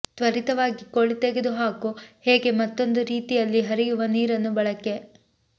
ತ್ವರಿತವಾಗಿ ಕೋಳಿ ತೆಗೆದುಹಾಕು ಹೇಗೆ ಮತ್ತೊಂದು ರೀತಿಯಲ್ಲಿ ಹರಿಯುವ ನೀರನ್ನು ಬಳಕೆ